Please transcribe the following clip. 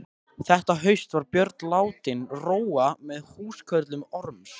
Þetta haust var Björn látinn róa með húskörlum Orms.